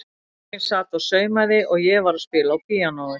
Konan mín sat og saumaði og ég var að spila á píanóið.